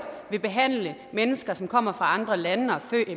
vil behandle mennesker som kommer fra andre lande